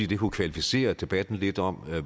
det kunne kvalificere debatten lidt om